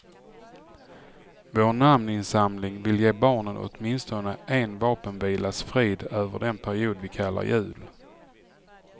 Vår namninsamling vill ge barnen åtminstone en vapenvilas frid över den period vi kallar jul.